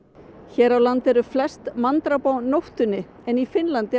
hér á landi eru flest manndráp á nóttunni en í Finnlandi